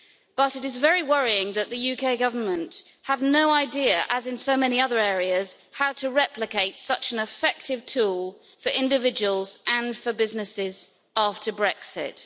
But it is very worrying that the UK Government has no idea, as in so many other areas, how to replicate such an effective tool for individuals and for businesses after Brexit.